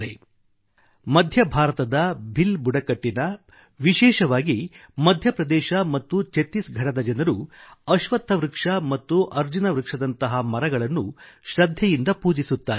• ಮಧ್ಯಭಾರತದ ಭಿಲ್ ಬುಡಕಟ್ಟಿನಲ್ಲಿ ವಿಶೇಷವಾಗಿ ಮಧ್ಯಪ್ರದೇಶ ಮತ್ತು ಛತ್ತೀಸ್ಘಡದ ಜನರು ಅಶ್ವತ್ಥ ವೃಕ್ಷ ಮತ್ತು ಅರ್ಜುನ ವೃಕ್ಷದಂತಹ ಮರಗಳನ್ನು ಶ್ರದ್ಧೆಯಿಂದ ಪೂಜಿಸುತ್ತಾರೆ